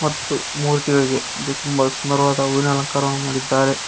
ಮತ್ತು ಮೂತಿಗಳಿಗೆ ಇದು ತುಂಬಾ ಸ್ಮರವಾದ ಹೂವಿನ ಅಲಂಕಾರ ಮಾಡಿದ್ದಾರೆ.